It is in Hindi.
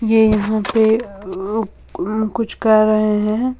ए यहां पे अ कुछ कर रहे हैं।